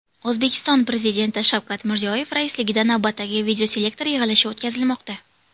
O‘zbekiston Prezidenti Shavkat Mirziyoyev raisligida navbatdagi videoselektor yig‘ilishi o‘tkazilmoqda.